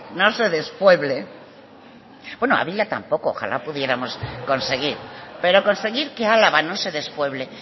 no se despueble bueno ávila tampoco ojalá pudiéramos conseguir pero conseguir que álava no se despueble